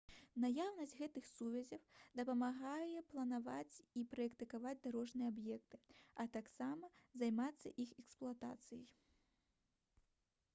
наяўнасць гэтых сувязяў дапамагае планаваць і праектаваць дарожныя аб'екты а таксама займацца іх эксплуатацыяй